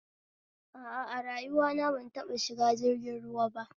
A a, a rayuwana ban taɓa shiga jirgin ruwa ba